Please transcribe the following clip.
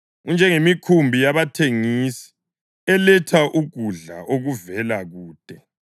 Unjengemikhumbi yabathengisi, eletha ukudla okuvela kude.